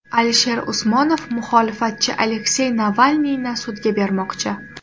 Alisher Usmonov muxolifatchi Aleksey Navalniyni sudga bermoqchi.